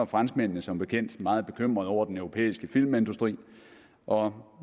franskmændene som bekendt meget bekymrede over den europæiske filmindustri og